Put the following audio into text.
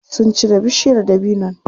Sun cire bishiyar dabinon.